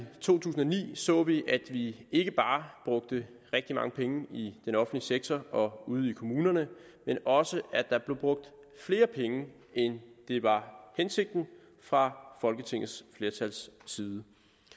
to tusind og ni så vi at vi ikke bare brugte rigtig mange penge i den offentlige sektor og ude i kommunerne men også at der blev brugt flere penge end det var hensigten fra folketingets flertals side